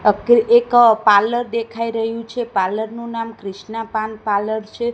એક પાર્લર દેખાય રહ્યુ છે પાર્લર નું નામ ક્રિષ્ના પાન પાર્લર છે.